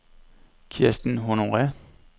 Kirsten Honore